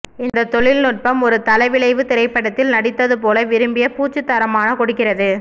இந்த தொழில்நுட்பம் ஒரு தளவிளைவு திரைப்படத்தில் நடித்ததுபோல விரும்பிய பூச்சு தரமான கொடுக்கிறது